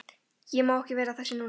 Ég má ekki vera að þessu núna.